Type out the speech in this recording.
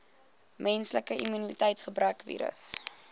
menslike immuniteitsgebrekvirus